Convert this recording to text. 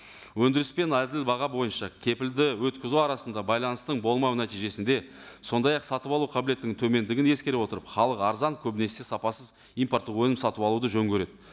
өндіріс пен әділ баға бойынша кепілді өткізу арасында байланыстың болмау нәтижесінде сондай ақ сатып алу қабілеттігінің төмендігін ескере отырып халық арзан көбінесе сапасыз импорттық өнім сатып алуды жөн көреді